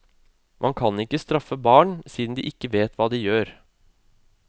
Man kan ikke straffe barn siden de ikke vet hva de gjør.